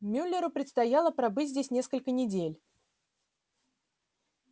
мюллеру предстояло пробыть здесь несколько недель